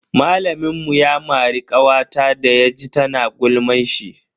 Malamin mu ya mari kawata da ya ji tana gulman shi.